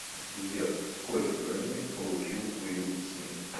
сбер сколько грэмми получил уилл смит